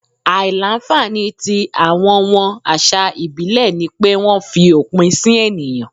Àìlà-nfànì tí awọn wọn àṣà ìbílẹ̀ ni pé wọ́n fi òpin sì ènìyàn.